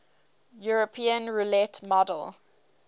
european roulette model